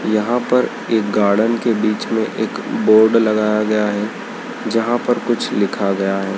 यहां पर एक गार्डन के बीच में एक बोर्ड लगाया गया है जहां पर कुछ लिखा गया है।